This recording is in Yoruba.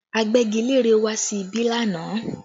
Agbẹ́gilére wá sí ibí lánàá